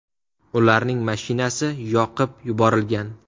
Ularning mashinasi yoqib yuborilgan.